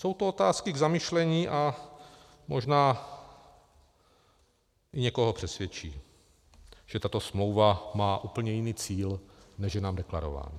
Jsou to otázky k zamyšlení a možná i někoho přesvědčí, že tato smlouva má úplně jiný cíl, než je nám deklarováno.